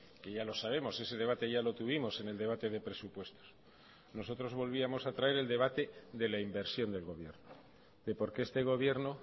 que ya lo sabemos ese debate ya lo tuvimos en el debate de presupuestos nosotros volvíamos a traer el debate de la inversión del gobierno de por qué este gobierno